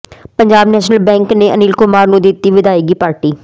Punjab national bank ਨੇ ਅਨਿਲ ਕੁਮਾਰ ਨੂੰ ਦਿੱਤੀ ਵਿਦਾਇਗੀ ਪਾਰਟੀ